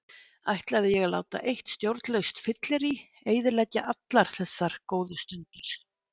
Ætlaði ég að láta eitt stjórnlaust fyllirí eyðileggja allar þessar góðu stundir?